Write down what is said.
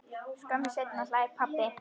Skömmu seinna hlær pabbi.